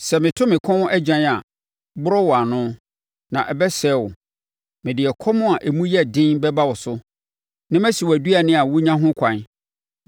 Sɛ meto me kɔm agyan a, borɔ wɔ ano, na ɛbɛsɛe wo. Mede ɛkɔm a emu yɛ den bɛba wo so, na masi wʼaduane a wonya ho ɛkwan.